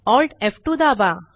Alt F two दाबा